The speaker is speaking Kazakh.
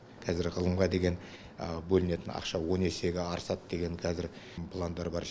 қазір ғылымға деген бөлінетін ақша он есеге артады деген қазір пландар бар